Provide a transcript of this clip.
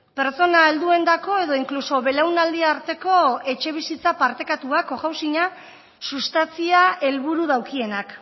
pertsona helduentzako edo inkluso belaunaldi arteko etxebizitza partekatua cohousinga sustatzia helburu daukienak